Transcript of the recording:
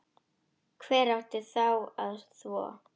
Hver átti þá að þvo?